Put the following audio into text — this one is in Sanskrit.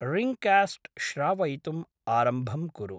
रिङ्ग्कास्ट् श्रावयितुम् आरम्भं कुरु।